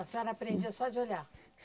A senhora aprendia só de olhar?